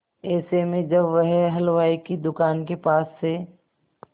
ऐसे में जब वह हलवाई की दुकान के पास से